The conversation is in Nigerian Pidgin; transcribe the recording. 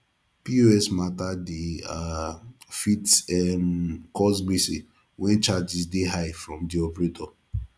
pos mata dey um fit um cause gbege when charges dey high from di operator